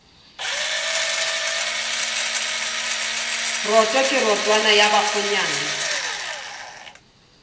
roto ke rotwane ya bakgonyana